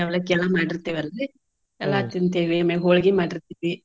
ಅವಲಕ್ಕಿ ಎಲ್ಲಾ ಮಾಡಿರ್ತೆವ ಅಲ್ರಿ ತಿಂತೇವಿ ಆಮ್ಯಾಗ್ ಹೊಳ್ಗಿ ಮಾಡಿರ್ತೀವಿ.